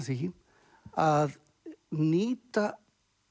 því að nýta